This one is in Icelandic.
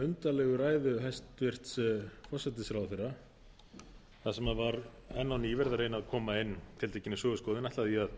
sem var enn á ný verið að reyna að koma inn tiltekinni söguskoðun hef ég